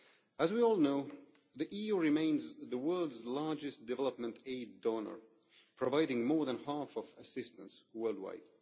As we all know, the EU remains the world's largest development aid donor, providing more than half of assistance world wide.